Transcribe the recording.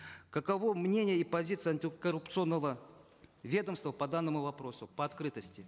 каково мнение и позиция антикоррупционного ведомства по данному вопросу по открытости